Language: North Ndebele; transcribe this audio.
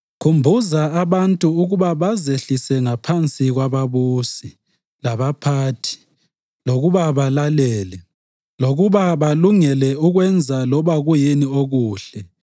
Khumbuza abantu ukuba bazehlisele ngaphansi kwababusi, labaphathi, lokuba balalele, lokuba balungele ukwenza loba kuyini okuhle,